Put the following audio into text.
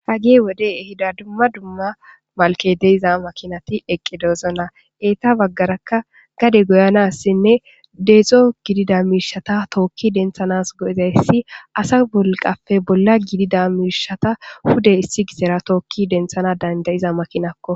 Hageyi wodey ehida dumma dumma malikey deiyo makinay eqidosona eyita bagaraka gade goyido asinne deththo gidida mishshata toki denththanas goizayis asa madana woliqappe bola gidida pude issi gizera toki denththanas danidaiza makinakko